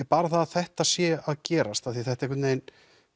bara það að þetta sé að gerast af því þetta einhvern vegin